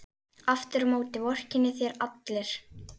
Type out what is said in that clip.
Aftur á móti vorkenna þér allir.